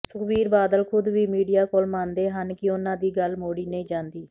ਸੁਖਬੀਰ ਬਾਦਲ ਖ਼ੁਦ ਵੀ ਮੀਡੀਆ ਕੋਲ ਮੰਨਦੇ ਹਨ ਕਿ ਉਨ੍ਹਾਂ ਦੀ ਗੱਲ ਮੋੜੀ ਨਹੀਂ ਜਾਂਦੀ